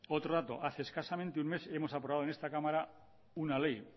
otro dato hace escasamente un mes hemos aprobado en esta cámara una ley